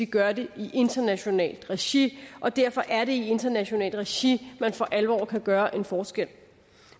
gør det i internationalt regi og derfor er det i internationalt regi man for alvor kan gøre en forskel